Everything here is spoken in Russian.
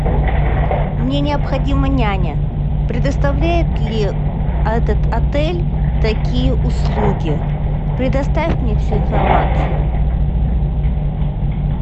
мне необходима няня предоставляет ли этот отель такие услуги предоставь мне всю информацию